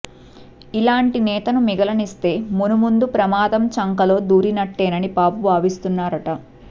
ఇలాంటి నేతను మిగలనిస్తే మునుముందు ప్రమాదం చంకలో దూరినట్టేనని బాబు భావిస్తున్నారుట